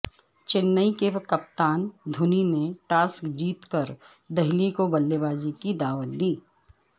چنئی کے کپتان دھونی نے ٹاس جیت کر دہلی کو بلے بازی کی دعوت دی